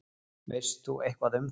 Veist þú eitthvað um það?